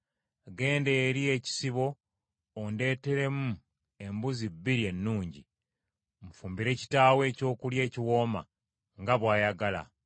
Genda eri ekisibo ondeeteremu embuzi bbiri ennungi, nfumbire kitaawo ekyokulya ekiwooma, nga bw’ayagala,